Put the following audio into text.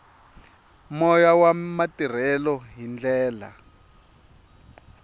moya wa matirhelo hi ndlela